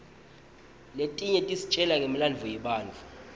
letinye tisitjela ngemlandvo yebatfu